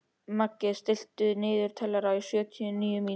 Maggey, stilltu niðurteljara á sjötíu og níu mínútur.